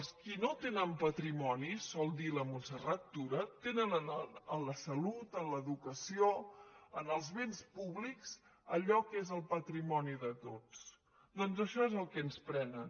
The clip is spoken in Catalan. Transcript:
els qui no tenen patrimoni sol dir la montserrat tura tenen en la salut en l’educació en els béns públics allò que és el patrimoni de tots doncs això és el que ens prenen